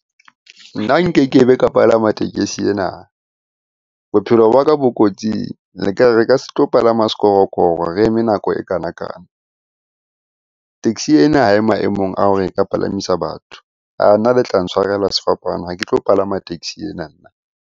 Nna nkeke be ka palama tekesi ena, bophelo ba ka bo kotsing. Ka se tlo palama sekorokoro re eme nako ekana-kana. Taxi ena ha e maemong a hore e ka palamisa batho. Nna le tla ntshwarela sefapano ha ke tlo palama taxi ena nna.